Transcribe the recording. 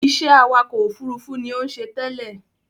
Iṣẹ́ awakọ̀ òfurufú ni ó ń ṣe tẹ́lẹ̀